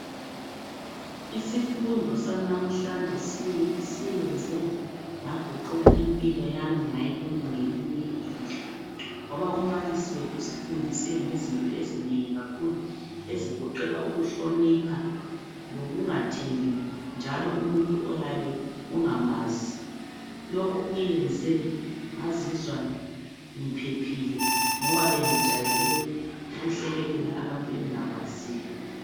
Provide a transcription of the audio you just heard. Isifundo sanamhlanje siyenze ngaguqula impilo yami ngayibona ngelinye ilihlo, ngoba umbalisi wethu usifundise ngezinto ezinengi kakhulu ezigoqela ukuhlonipha lokungathembi njalo umuntu oyabe ungamazi. Lokhu kuyenze ngazizwa ngiphephile ngoba bengijayele ukuhlekelela abantu engingabaziyo.